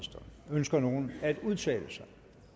ønsker nogen at udtale sig